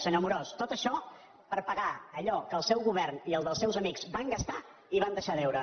senyor amorós tot això per pagar allò que el seu govern i el dels seus amics van gastar i van deixar a deure